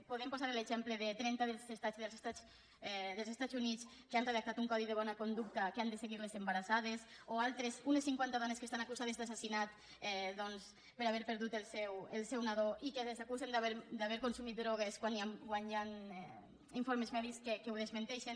podem posar l’exemple de trenta estats dels estats units que han redactat un codi de bona conducta que han de seguir les embarassades o altres unes cinquanta dones que estan acusades d’assassinat doncs per haver perdut el seu nadó i que les acusen d’haver consumit drogues quan hi han informes mèdics que ho desmenteixen